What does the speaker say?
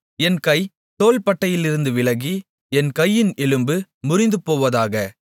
என் கை தோள்பட்டையிலிருந்து விலகி என் கையின் எலும்பு முறிந்துபோவதாக